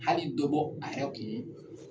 Hali dɔ bɔ a yɛrɛ kun.